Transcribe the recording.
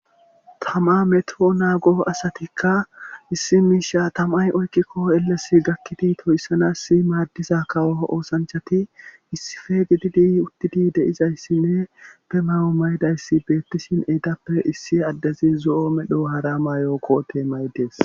Tama meto naago asatikka issi miisha tamay oykkikko elles gakkidi toyssanassi maaddiza kawo oosanchati issife gididi uttidi deizayssinne be mawo mayidayssi beettishin eedappe issi addezi zo'o medho haramayookko tee maydees.